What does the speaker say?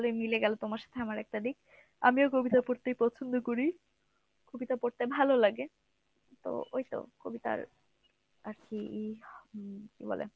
ভালই মিলে গেল তোমার সাথে আমার একটা দিক। আমিও কবিতা পড়তেই পছন্দ করি। কবিতা পড়তে ভালো লাগে। তো ওই তো কবিতার আরকি কী বলে